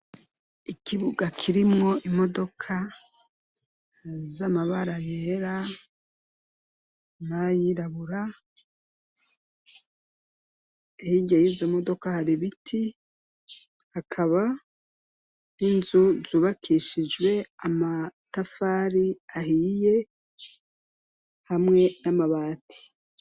Ikibuga kirimwo imodoka z'amabara yera n'ayirabura, hirya yizo modoka hari biti, hakaba n'inzu zubakishijwe amatafari ahiye hamwe n'amabati.